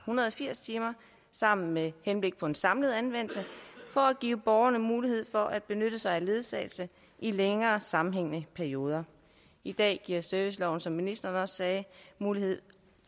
hundrede og firs timer sammen med henblik på en samlet anvendelse for at give borgerne mulighed for at benytte sig af ledsagelse i længere sammenhængende perioder i dag giver serviceloven som ministeren også sagde mulighed